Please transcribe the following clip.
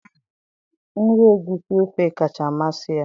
nri egusi ofe kacha amasị ya